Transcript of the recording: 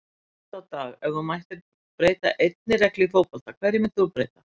Oft á dag Ef þú mættir breyta einni reglu í fótbolta, hverju myndir þú breyta?